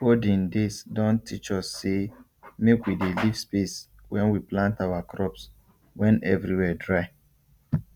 olden days don teach us say make we dey leave space when we plant our crops when everywhere dry